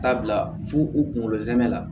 Taa bila fo u kunkolo zɛmɛ la